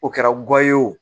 O kɛra gɔye ye o